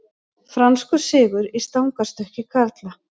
Franskur sigur í stangarstökki karla